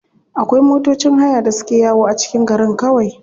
Akwai matocin haya da suke yawo a cikin garin kawai.